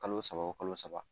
Kalo saba o kalo saba